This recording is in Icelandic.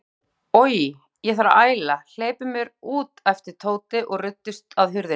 Oj, ég þarf að æla, hleypið mér út æpti Tóti og ruddist að hurðinni.